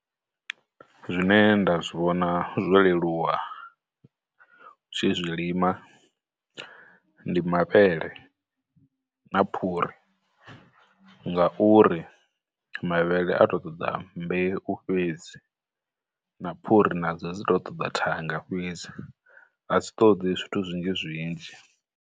Zwine nda zwi vhona zwo leluwa tshi zwi lima, ndi mavhele, na phuri, ngauri mavhele a tou ṱoḓa mbeu fhedzi, na phuri na dzo dzi tou ṱoḓa thanga fhedzi, a dzi ṱoḓi zwithu zwinzhi zwinzhi.